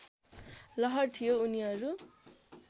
लहर थियो उनीहरू